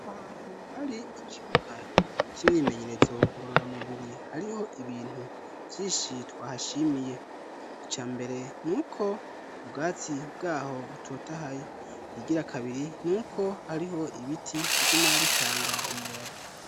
ahantu hari ikibuga c'imwimenyerezo ngorora mubiri hariho ibintu vyinshi twahashimiye. icya mbere n'uko ubwatsi bwaho butotahaye, ikigira kabiri n'uko hariho ibiti biguma bitanga umuyaga.